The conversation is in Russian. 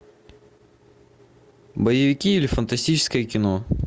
боевики или фантастическое кино